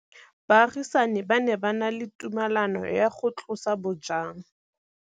Baagisani ba ne ba na le tumalanô ya go tlosa bojang.